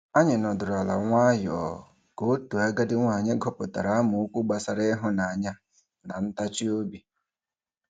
Anyị nọdụrụ ala nwayọọ ka otu agadi nwaanyị gụpụtara amaokwu gbasara ịhụnanya na ntachi obi.